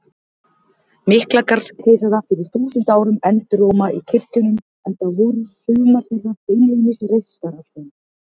Miklagarðskeisara fyrir þúsund árum enduróma í kirkjunum, enda voru sumar þeirra beinlínis reistar af þeim.